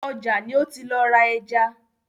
Ọjà ni ó ti lọ ra ẹja.